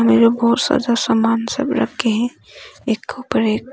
सजा समान सब रखे हैं एक कपड़े--